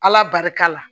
Ala barika la